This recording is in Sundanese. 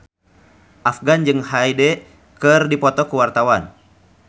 Afgan jeung Hyde keur dipoto ku wartawan